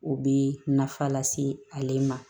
U bɛ nafa lase ale ma